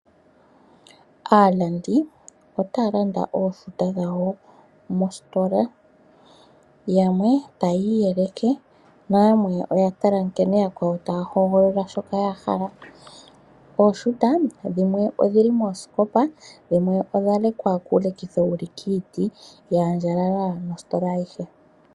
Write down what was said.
Aalandi otaya landa ooshuta dhawo mositola, yamwe tayi iyeleke nayamwe oya tala nkene yakwawo taya hogolola shoka ya hala. Ooshuta dhimwe odhili moosikopa, dhimwe odha lekwa kuulekitho wuli kiiti dha andjalala nositola ayihe.